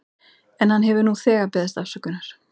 En hann hefur nú þegar beðist afsökunar.